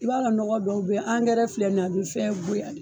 I b'a dɔn nɔgɔ dɔw be ye angɛrɛ filɛ nin ye a be fɛn goya de